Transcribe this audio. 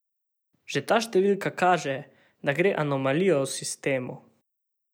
Že ta števika kaže, da gre anomalijo v sistemu.